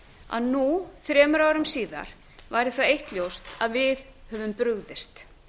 að nú þremur árum síðar væri það eitt ljóst að við höfum brugðist